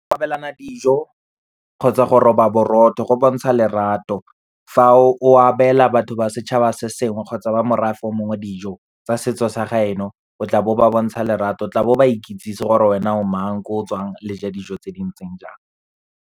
Go abelana dijo kgotsa go roba borotho, go bontsha lerato. Fa o abela batho ba setšhaba se sengwe kgotsa ba morafe o mongwe dijo tsa setso sa gaeno, o tla bo ba bontsha lerato, tla bo ba ikitsise gore wena o mang, ko o tswang le ja dijo tse dintseng jang.